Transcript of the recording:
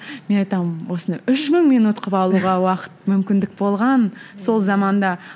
мен айтамын осындай үш мың минут қылып алуға уақыт мүмкіндік болған сол заманда